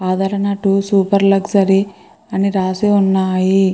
ఆదరణ two super luxury అని రాసి ఉన్నాయి.